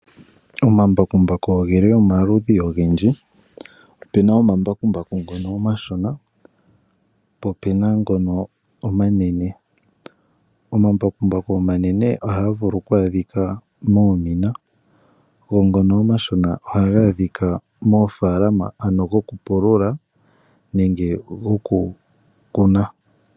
Omambakumbaku ogeli omaludhi ogendji opena omambakumbaku ngono omashona po opena ngono omanene. Omambakumbaku omanene ohaga vulu oku adhika moomina go ngono omashona ohaga adhika moofaalama gokupulula nenge kokukuna.